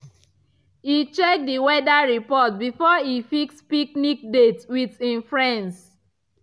e check d weather report before e fix picnic date with him friends.